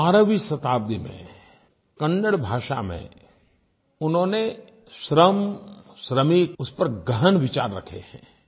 12वीं शताब्दी में कन्नड़ भाषा में उन्होंने श्रम श्रमिक उस पर गहन विचार रखे हैं